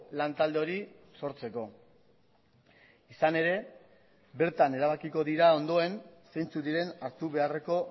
lantalde hori sortzeko izan ere bertan erabakiko dira ondoen zeintzuk diren hartu beharreko